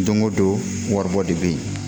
Don o don waribɔ de bɛ ye